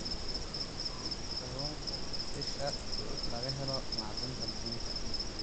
Kalluunku waa isha laga helo macdanta muhiimka ah.